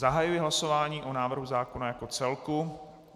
Zahajuji hlasování o návrhu zákona jako celku.